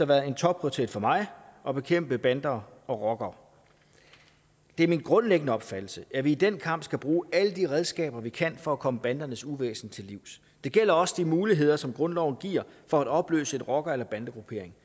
været en topprioritet for mig at bekæmpe bander og rockere det er min grundlæggende opfattelse at vi i den kamp skal bruge alle de redskaber vi kan bruge for at komme bandernes uvæsen til livs det gælder også de muligheder som grundloven giver for at opløse en rocker eller bandegruppering